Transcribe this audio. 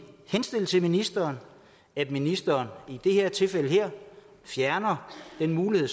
henstille til ministeren at ministeren i det her tilfælde fjerner den mulighed